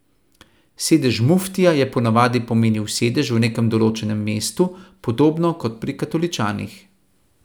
Sedež muftija je ponavadi pomenil sedež v nekem določenem mestu, podobno kot pri katoličanih.